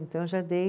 Então eu já dei